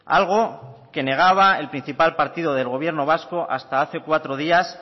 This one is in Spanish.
algo que negaba el principal partido del gobierno vasco hasta hace cuatro días